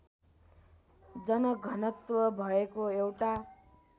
जनघनत्व भएको एउटा